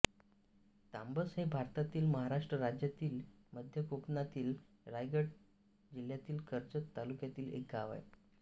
तांबस हे भारतातील महाराष्ट्र राज्यातील मध्य कोकणातील रायगड जिल्ह्यातील कर्जत तालुक्यातील एक गाव आहे